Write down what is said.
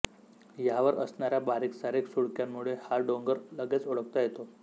ह्यावर असणाऱ्या बारीकसारीक सुळक्यांमुळे हा डोंगर लगेच ओळखता येतो